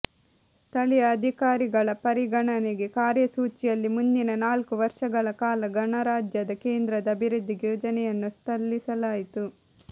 ಸ್ಥಳೀಯ ಅಧಿಕಾರಿಗಳ ಪರಿಗಣನೆಗೆ ಕಾರ್ಯಸೂಚಿಯಲ್ಲಿ ಮುಂದಿನ ನಾಲ್ಕು ವರ್ಷಗಳ ಕಾಲ ಗಣರಾಜ್ಯದ ಕೇಂದ್ರದ ಅಭಿವೃದ್ಧಿಗೆ ಯೋಜನೆಯನ್ನು ಸಲ್ಲಿಸಲಾಯಿತು